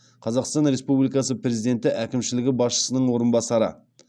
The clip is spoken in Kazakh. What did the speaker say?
қазақстан республикасы президенті әкімшілігі басшысының орынбасары